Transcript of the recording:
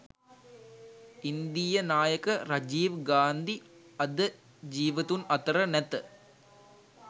ඉන්දීය නායක රජීව් ගාන්ධි අද ජීවතුන් අතර නැත.